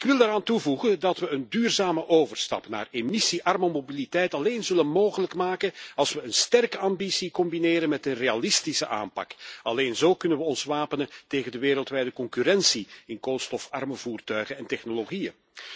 Ik wil daaraan toevoegen dat we een duurzame overstap naar emissiearme mobiliteit alleen mogelijk zullen maken als we een sterke ambitie combineren met een realistische aanpak. Alleen zo kunnen we ons wapenen tegen de wereldwijde concurrentie in koolstofarme voertuigen en technologieën.